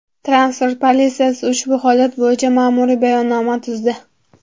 Transport politsiyasi ushbu holat bo‘yicha ma’muriy bayonnoma tuzdi.